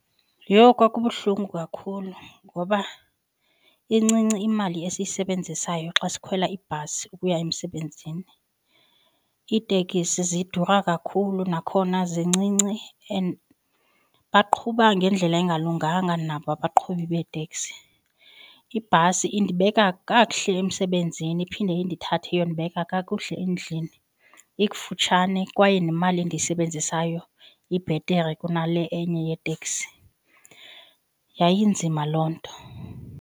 Yho kwakubuhlungu kakhulu, ngoba incinci imali esiyisebenzisayo xa sikhwela ibhasi ukuya emsebenzini. Iitekisi zidura kakhulu, nakhona zincinci and baqhuba ngendlela engalunganga nabo abaqhubi beeteksi. Ibhasi indibeka kakuhle emsebenzini iphinde indithathe iyondibeka kakuhle endlini. Ikufutshane kwaye nemali endiyisebenzisayo ibhetere kunale enye yeetekisi. Yayinzima loo nto.